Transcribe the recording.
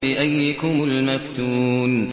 بِأَييِّكُمُ الْمَفْتُونُ